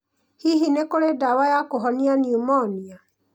Hihi nĩ kũrĩ ndawa ya kũhonia pneumonia?